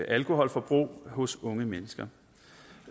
alkoholforbrug hos unge mennesker